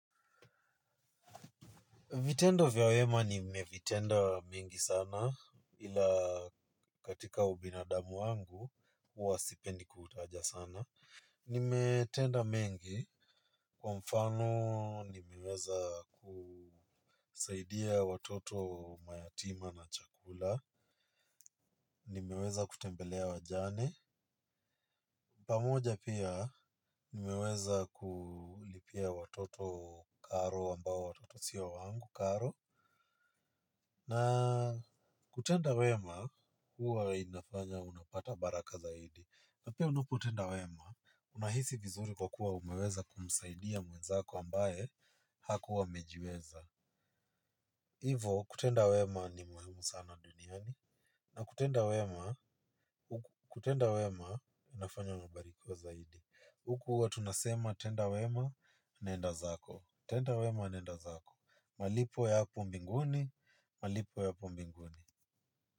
Vitendo vya wema nimevitenda mingi sana ila katika ubinadamu wangu huwa sipendi kutaja sana. Nimetenda mengi kwa mfano nimeweza kusaidia watoto mayatima na chakula. Nimeweza kutembelea wajane. Pamoja pia nimeweza kulipia watoto karo ambao watoto sio wangu karo. Na kutenda wema huwa inafanya unapata baraka zaidi. Na pia unapotenda wema unahisi vizuri kwa kuwa umeweza kumsaidia mwenzako ambaye hakuwa amejiweza. Hivo kutenda wema ni muhimu sana duniani. Na kutenda wema kutenda wema unafanya unabarikiwa zaidi. Huku huwa tunasema tenda wema nenda zako. Tenda wema nenda zako. Malipo ya hapo mbinguni, malipo yapo mbinguni. Kwa hivyo.